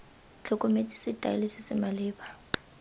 tlhokometse setaele se se maleba